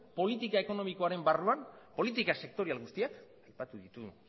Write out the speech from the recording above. politika ekonomikoaren barruan politika sektorial guztiak aipatu ditugun